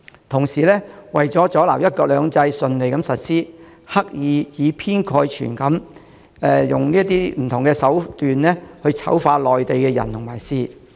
同時，為了阻撓"一國兩制"順利實施，他們刻意以偏概全，以不同手段醜化內地的人和事。